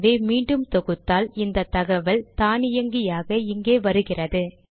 ஆகவே மீண்டும் தொகுத்தால் இந்த தகவல் தானியங்கியாக இங்கே வருகிறது